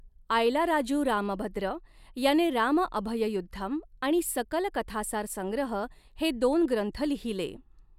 आयलाराजु रामभद्र याने रामअभययुद्धम आणि सकल कथासार संग्रह हे दोन ग्रंथ लिहिले.